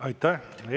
Aitäh!